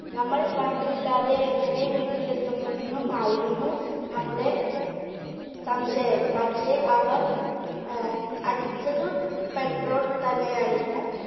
നമ്മൾ വണ്ടിയില്ലാതെ എങ്ങനെ വീട്ടിലെത്തുമെന്നും ആയിരുന്നു നമ്മുടെ സംശയം, പക്ഷെ അവർ ഏർ അടിച്ചത് petrol തന്നെയായിരുന്നു.